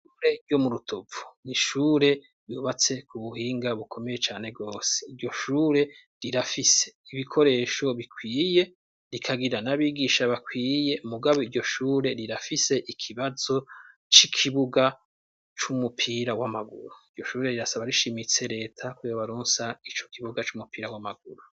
Ishure iryo murutovu n'ishure bubatse k'ubuhinga bukomeye cane gose. Iryoshure rirafise ibikoresho bikwiye rikagira n'abigisha bakwiye mugabo iryoshure rirafise ikibazo c'ikibuga c'umupira w'amaguru. Iryoshure rirasaba rishimitse reta ko yobaronsa icokibuga c'umupira w'amaguru.